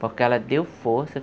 Porque ela deu força.